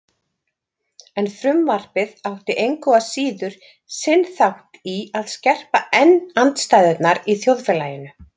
En frumvarpið átti engu að síður sinn þátt í að skerpa enn andstæðurnar í þjóðfélaginu.